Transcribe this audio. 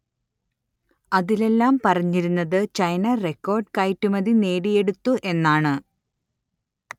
അതിലെല്ലാം പറഞ്ഞിരുന്നത് China record കയറ്റുമതി നേടിയെടുത്തു എന്നാണ്